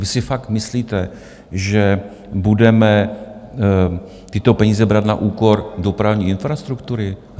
Vy si fakt myslíte, že budeme tyto peníze brát na úkor dopravní infrastruktury?